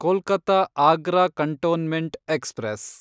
Kolkata Agra cantonment express